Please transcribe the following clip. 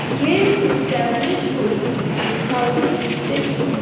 ये एस्टैब्लिश हुई थी टू थाउजेंड सिक्स में।